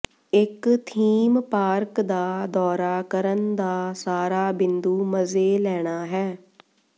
ਇੱਕ theme park ਦਾ ਦੌਰਾ ਕਰਨ ਦਾ ਸਾਰਾ ਬਿੰਦੂ ਮਜ਼ੇ ਲੈਣਾ ਹੈ